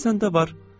O da səndə var.